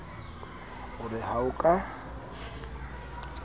o re ha o ka